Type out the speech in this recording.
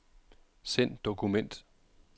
Send dokument.